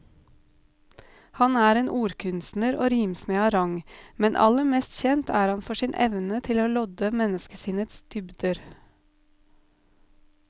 Han er en ordkunstner og rimsmed av rang, men aller mest kjent er han for sin evne til å lodde menneskesinnets dybder.